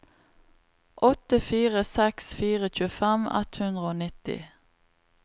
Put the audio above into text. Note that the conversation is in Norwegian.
åtte fire seks fire tjuefem ett hundre og nitti